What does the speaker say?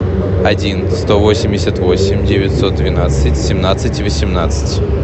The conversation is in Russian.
один сто восемьдесят восемь девятьсот двенадцать семнадцать восемнадцать